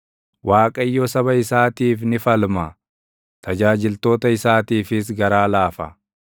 Waaqayyo saba isaatiif ni falma; tajaajiltoota isaatiifis garaa laafa.